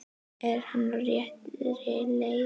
Er hann á réttri leið?